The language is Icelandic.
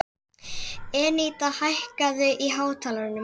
Eníta, hækkaðu í hátalaranum.